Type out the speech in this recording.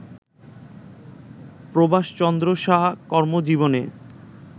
প্রভাষ চন্দ্র সাহা কর্মজীবনে